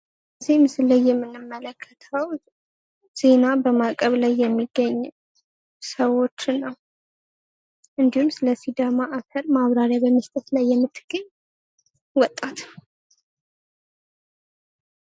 እዚህ ምስሉ ላይ የምንመለከተው ዜና በማቅረብ ላይ የሚገኝ ሰዎችን ነዉ። እንዲሁም ስለ ሲዳማ አፍር ማብራሪያ በመስጠት ላይ የምትገኝ ወጣት